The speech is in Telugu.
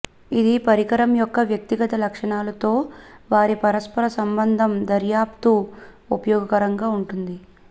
ఇది పరికరం యొక్క వ్యక్తిగత లక్షణాలు తో వారి పరస్పర సంబంధం దర్యాప్తు ఉపయోగకరంగా ఉంటుంది